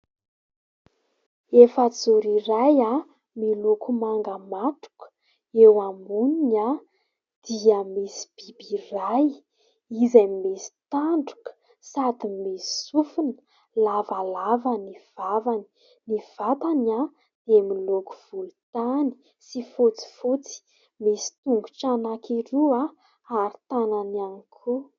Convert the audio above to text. Efajoro iray miloko manga matroka. Eo amboniny dia misy biby iray izay misy tandroka sady misy sofina. Lavalava ny vavany, ny vatany dia miloko volontany sy fotsifotsy ; misy tongotra anankiroa ary tanany ihany koa.